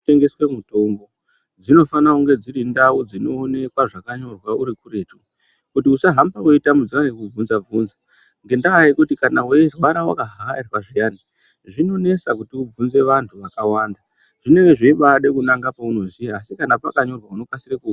Kunotengeswa mitombo kunofanira kunge dziri ndau dzekuti unoona zvakanyorwa iri kuretu kuti usahamba weibvunza bvunza ngandaya yekuti kana weirwara wakahairwa zviyani zvinonesa kuti uhambe eeibvunza vantu vakawanda zvinenge zveibada kunanga peunoziya asi kana pakanyorwa unokasira kuona .